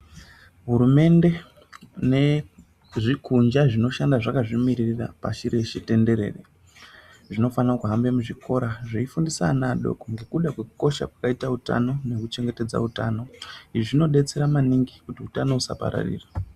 Hurumende nezvikunja zvinoshanda zvakazvimiririra pashi reshe tenderere zvinofana kuhambe muzvikoro zveifundisa ana adoko ngekuda kwekukosha kwakaita utano nekuchengetedza utano izvi zvinodetseredza maningi kuti utano usapararira.